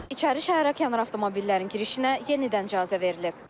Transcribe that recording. İçəri şəhərə kənar avtomobillərin girişinə yenidən icazə verilib.